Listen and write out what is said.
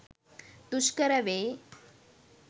දුෂ්කර වෙයි.